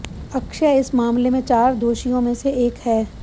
अक्षय इस मामले में चार दोषियों में से एक है